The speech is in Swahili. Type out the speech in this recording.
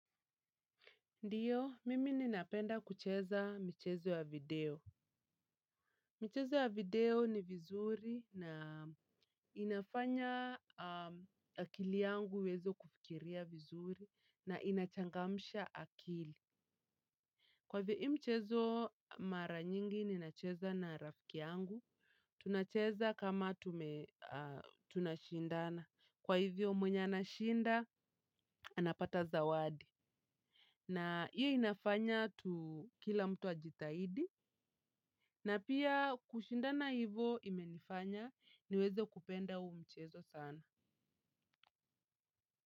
Ndiyo, mimi ninapenda kucheza mchezo ya video. Mchezo ya video ni vizuri na inafanya akili yangu iweze kufikiria vizuri na inachangamsha akili. Kwa hivyo ii mchezo mara nyingi ninacheza na rafiki yangu, tunacheza kama tunashindana. Kwa hivyo mwenye anashinda, anapata zawadi. Na iyo inafanya kila mtu ajitahidi. Na pia kushindana hivo imenifanya niweze kupenda huu mchezo sana.